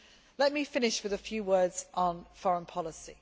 Let me finish with a few words on foreign policy.